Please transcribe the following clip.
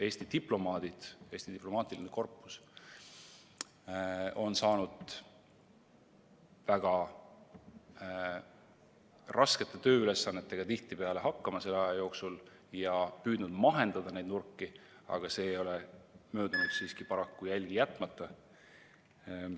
Eesti diplomaadid, Eesti diplomaatiline korpus on saanud väga raskete tööülesannetega selle aja jooksul tihtipeale hakkama ja püüdnud neid nurki mahendada, aga see ei ole paraku möödunud siiski jälgi jätmata.